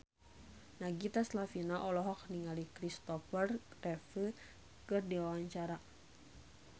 Nagita Slavina olohok ningali Christopher Reeve keur diwawancara